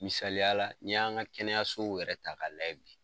Misaliya la n'i y'an ka kɛnɛyasow yɛrɛ ta ka lajɛ bi.